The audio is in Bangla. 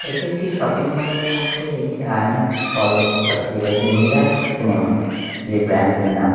এটি একটি শপিং মল -এর মধ্যে একটি আইনক্স হল দেখতে পাচ্ছি যেটা হচ্ছে মিরাট সিনেমা যে ব্র্যান্ড -টির নাম।